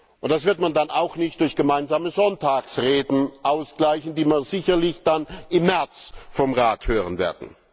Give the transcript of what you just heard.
Und das wird man dann auch nicht durch gemeinsame Sonntagsreden ausgleichen, die man sicherlich dann im März vom Rat hören wird.